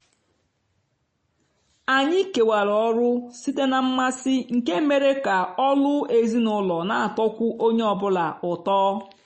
anyị kewara ọrụ site na mmasị nke mere ka ọlụ ezinụlọ n'atọkwu onye ọ bụla ụtọ.